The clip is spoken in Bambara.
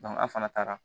an fana taara